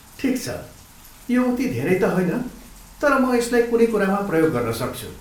ठिक छ, यो उति धेरै त होइन, तर म यसलाई कुनै कुरामा प्रयोग गर्न सक्छु।